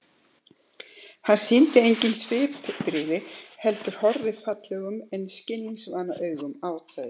Hann sýnir engin svipbrigði heldur horfir fallegum en skilningsvana augum á þau.